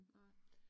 Nej